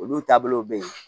Olu taabolow bɛ ye